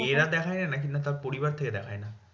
মেয়েরা দেখায় নাকি না তাদের পরিবার থেকে দেখায় না?